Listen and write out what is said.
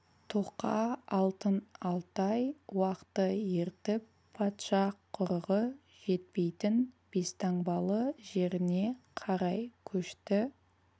тоқа алтын алтай уақты ертіп патша құрығы жетпейтін бестаңбалы жеріне қарай көшті